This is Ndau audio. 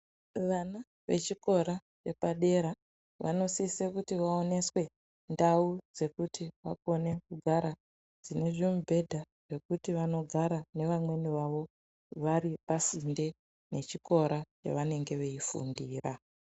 Vana vechikora vepadera, vanosise kuti vaoneswe ndau dzekuti vakone kugara, dzine zvimibhedha zvekuti vanogara nevamweni vavo vari pasinde nechikora pevanenge veifundira.